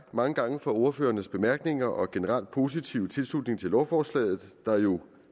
mange gange for ordførernes bemærkninger og generelt positive tilslutning til lovforslaget der jo